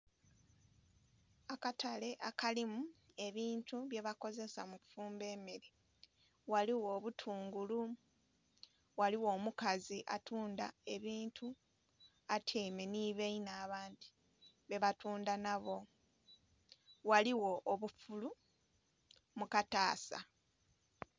Akatale akalimu ebintu bye bakozesa mu kufumba emmere, ghaligho obutungulu, ghaligho omukazi atundha ebintu atyaime nhi bainhe abandhi be ba tu ndha nha boo, ghaligho obufulu mu kataasa.